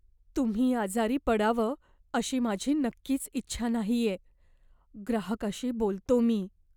तुम्ही आजारी पडावं अशी माझी नक्कीच इच्छा नाहीये. ग्राहकाशी बोलतो मी.